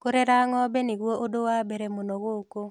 Kũrera ng'ombe nĩguo ũndũ wa mbere mũno gũkũ.